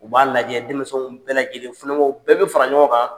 U b'a lajɛ denmisɛnw bɛɛ lajɛlen funɛgɛnw bɛɛ bɛ fara ɲɔgɔn kan.